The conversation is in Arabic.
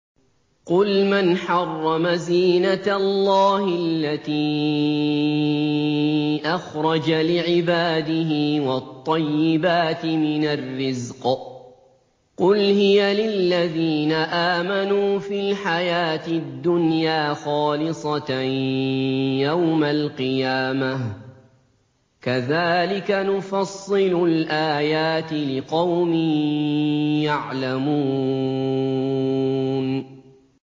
قُلْ مَنْ حَرَّمَ زِينَةَ اللَّهِ الَّتِي أَخْرَجَ لِعِبَادِهِ وَالطَّيِّبَاتِ مِنَ الرِّزْقِ ۚ قُلْ هِيَ لِلَّذِينَ آمَنُوا فِي الْحَيَاةِ الدُّنْيَا خَالِصَةً يَوْمَ الْقِيَامَةِ ۗ كَذَٰلِكَ نُفَصِّلُ الْآيَاتِ لِقَوْمٍ يَعْلَمُونَ